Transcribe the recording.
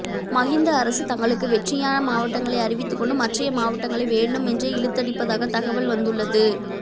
மகிந்த அரசு தங்களுக்கு வெற்றியான மாவட்டங்களை அறிவித்துக் கொண்டு மற்றைய மாவட்டங்களை வேண்டுமென்றே இழுத்தடிப்பதாக தகவல் வந்துள்ளது